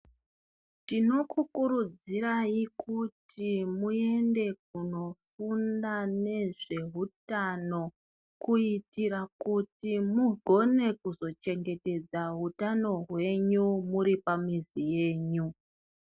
Ndinokukurudzirai kuti muende kunofunda nezvehutano kuitira kuti mugone kuzochengetedza utano hwenyu muri pamizi yenyu.